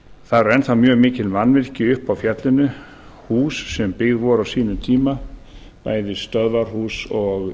þar eru enn mjög mikil mannvirki uppi á fjallinu hús sem byggð voru á sínum tíma bæði stöðvarhús og